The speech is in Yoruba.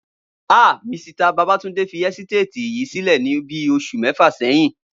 ha! Misita Babátúndé fi ẹ́sítéètì yìí sílè ní bíí oṣù méfà sẹyìn